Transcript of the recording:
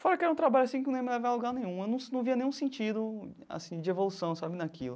Fora que era um trabalho assim que não ia me levar a lugar nenhum, eu num num via nenhum sentido assim de evolução sabe naquilo.